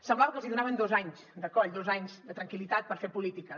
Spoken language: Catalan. semblava que els hi donaven dos anys de coll dos anys de tranquil·litat per fer polítiques